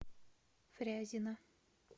фрязино